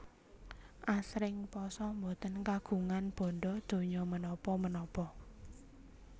Asring pasa boten kagungan bandha donya menapa menapa